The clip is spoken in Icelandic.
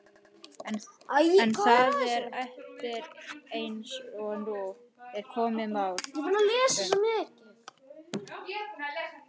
En það er erfitt, eins og nú er komið málum.